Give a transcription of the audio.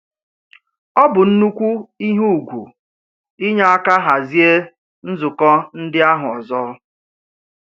Ọ bụ nnukwu ihe ùgwù inye aka hazie nzukọ ndị ahụ ọzọ.